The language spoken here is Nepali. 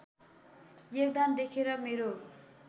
योगदान देखेर मेरो